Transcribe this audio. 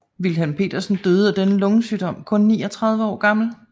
Wilhelm Pedersen døde af denne lungesygdom kun 39 år gammel